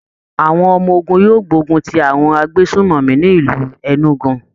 Àwọn ọmọ ogun yóò gbógun ti àwọn agbésùnmọ̀mí ní ìlú Enugu